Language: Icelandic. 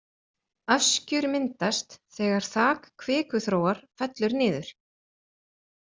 Öskjur myndast þegar þak kvikuþróar fellur niður.